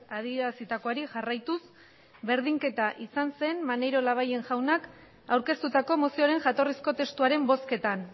adierazitakoari jarraituz berdinketa izan zen maneiro labayen jaunak aurkeztutako mozioaren jatorrizko testuaren bozketan